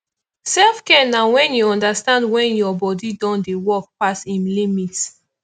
selfcare na when you understand when your body don dey work pass im limit